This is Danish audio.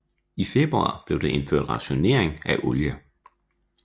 I februar blev der indført rationering af olie